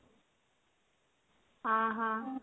ହଁ ହଁ